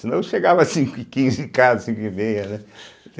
Senão chegava cinco e quinze, em casa, cinco e meia, né?